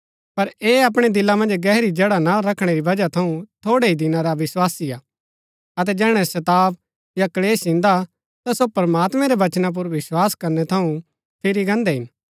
पर ऐह अपणै दिला मन्ज गहरी जड़ा ना रखणै री वजह थऊँ थोड़ै ही दिना रा विस्वासी हा अतै जैहणै सताव या क्‍लेश इन्दा ता सो प्रमात्मैं रै वचना पुर विस्वास करनै थऊँ फिरी गान्दै हिन